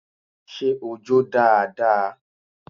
Ṣé o jó dáadáa?